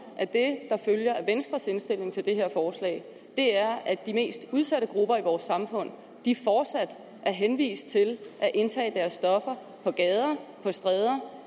at det der følger af venstres indstilling til det her forslag er at de mest udsatte grupper i vores samfund fortsat er henvist til at indtage deres stoffer på gader og stræder